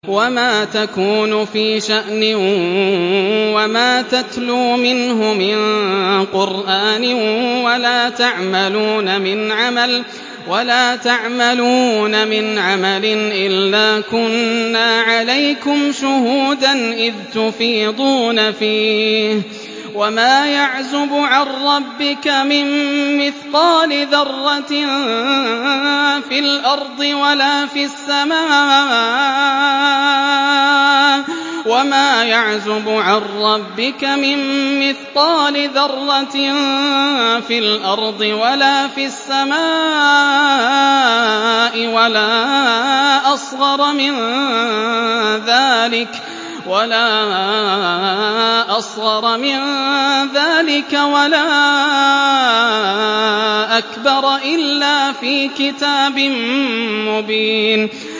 وَمَا تَكُونُ فِي شَأْنٍ وَمَا تَتْلُو مِنْهُ مِن قُرْآنٍ وَلَا تَعْمَلُونَ مِنْ عَمَلٍ إِلَّا كُنَّا عَلَيْكُمْ شُهُودًا إِذْ تُفِيضُونَ فِيهِ ۚ وَمَا يَعْزُبُ عَن رَّبِّكَ مِن مِّثْقَالِ ذَرَّةٍ فِي الْأَرْضِ وَلَا فِي السَّمَاءِ وَلَا أَصْغَرَ مِن ذَٰلِكَ وَلَا أَكْبَرَ إِلَّا فِي كِتَابٍ مُّبِينٍ